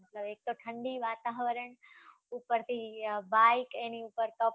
એક તો ઠંડી વાતાવરણ, ઉપરથી બાઈક, એની ઉપર couple